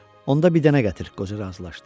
Onda bir dənə gətir, qoca razılaşdı.